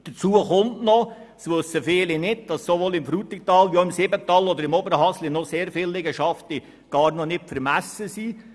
Hinzu kommt – viele wissen das nicht –, dass im Frutigtal wie auch im Simmental oder im Oberhasli viele Liegenschaften noch gar nicht vermessen sind.